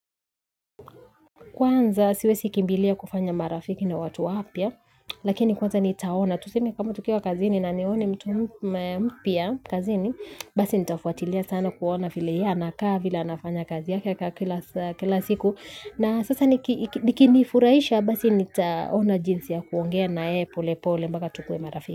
Kwanza siwezi kimbilia kufanya marafiki na watu wapya lakini kwanza nitaona tuseme kama tukiwa kazini na nione mtu mpya kazini basi nitafuatilia sana kuona vile yeye anakaa vile anafanya kazi yake kila siku na sasa nikinifurahisha basi nitaona jinsi ya kuongea na yeye pole pole mpaka tukuwe marafiki.